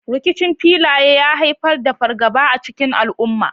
Rikicin filaye ya haifar da fargaba a cikin al’umma.